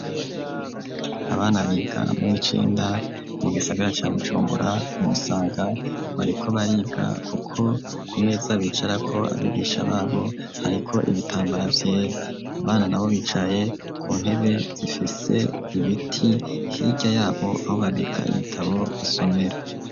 Abana biga mu w'icenda mu gisagara ca Bujumbura ku Musaga bariko bariga kuko ku meza bicarako, abigisha babo hariko ibitambara vyera. Abana na bo bicaye ku ntebe zifise ibiti, hirya yabo aho babika ibitabo basomera.